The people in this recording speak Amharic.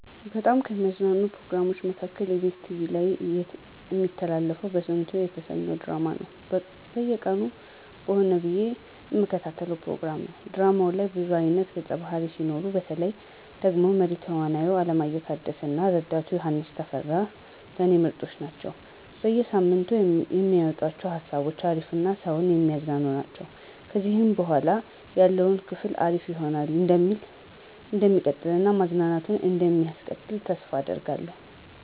በጣም ከሚያዝናኑኝ ፕሮግራሞች መካከል ebs ቲቪ ላይ እሚተላለፈው በስንቱ የተሰኘው ድራማ ነው። በየቀኑ በሆነ ብዬ እምከታተለው ፕሮግራም ነው። ድራማው ላይ ብዙ አይነት ገፀ ባህርያት ሲኖሩ፤ በተለይ ደግሞ መሪ ተዋናዩ አለማየሁ ታደሰ እና ረዳቱ ዮሐንስ ተፈራ ለኔ ምርጦች ናቸው። በየ ሳምንቱ የሚያመጡአቸው ሃሳቦች አሪፍ እና ሰውን የሚያዝናኑ ናቸው። ከዚህ በኃላ ያለውም ክፍል አሪፍ ሆኖ እንደሚቀጥል እና ማዝናናቱም እንደሚቀጥል ተስፋ አደርጋለሁ።